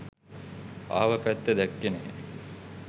ආව පැත්ත දැක්කේ නැහැ